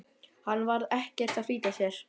Hann var ekkert að flýta sér.